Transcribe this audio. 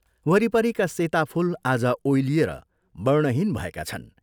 वरिपरिका सेता फूल आज ओइलिएर वर्णहीन भएका छन्।